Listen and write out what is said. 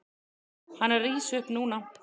Hann er að rísa upp núna.